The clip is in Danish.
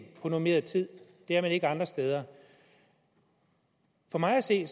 på normeret tid det er man ikke andre steder for mig at se